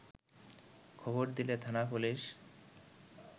খবর দিলে থানা পুলিশ